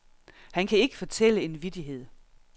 Han kan ikke fortælle en vittighed.